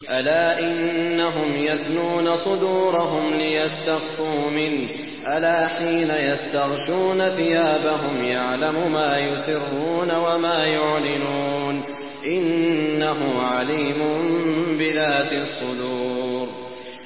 أَلَا إِنَّهُمْ يَثْنُونَ صُدُورَهُمْ لِيَسْتَخْفُوا مِنْهُ ۚ أَلَا حِينَ يَسْتَغْشُونَ ثِيَابَهُمْ يَعْلَمُ مَا يُسِرُّونَ وَمَا يُعْلِنُونَ ۚ إِنَّهُ عَلِيمٌ بِذَاتِ الصُّدُورِ